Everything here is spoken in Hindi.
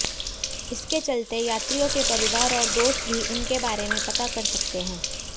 इसके चलते यात्रियों के परिवार और दोस्त भी उनके बारे में पता कर सकते हैं